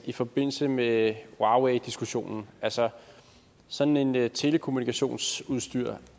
i forbindelse med huaweidiskussionen altså sådan et telekommunikationsudstyr